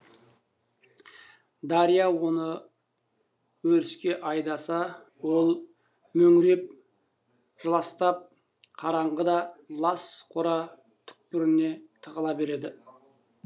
дарья оны өріске айдаса ол мөңіреп жылыстап қараңғы да лас қора түкпіріне тығыла берді